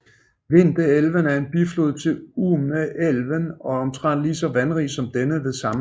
Vindelälven er en biflod til Umeälven og er omtrent lige så vandrig som denne ved sammenløbet